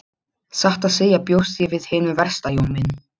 Satt að segja bjóst ég við hinu versta Jón minn.